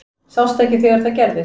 Sástu ekki þegar það gerðist?